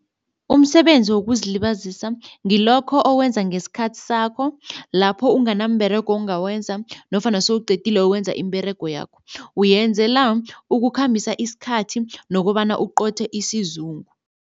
Umsebenzi wokuzilibazisa ngilokho owenza ngesikhathi sakho lapho unganamberego ongakwenza nofana sewuqedile ukwenza imiberego yakho. Uyenzela ukukhambisa isikhathi nokobana uqothe isizungu.